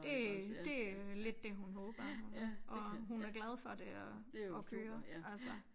Det det lidt det hun håber og hun er glad for det at at køre altså